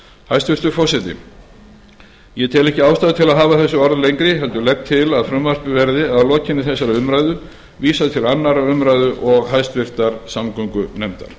hæstvirtur forseti ég tel ekki ástæðu til að hafa þessi orð lengri heldur legg til að frumvarpinu verði að lokinni þessari umræðu vísað til annarrar umræðu og háttvirtrar samgöngunefndar